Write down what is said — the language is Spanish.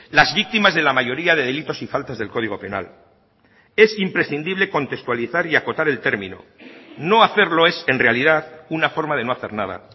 las víctimas de la mayoría de delitos y faltas del código penal es imprescindible contextualizar y acotar el término no hacerlo es en realidad una forma de no hacer nada